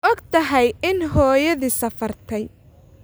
Ma ogtahay in hooyadii safartay?